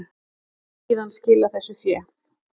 Hann hefur síðan skilað þessu fé